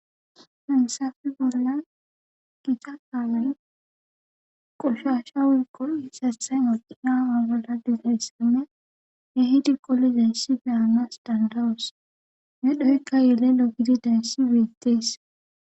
Fensafi bolla gicha kaalay qoshasha wiqol hisathay moqina agala dizayssime yehidi qoli zeyssi beanas dandawos nedhoykka yele logidi densi weettees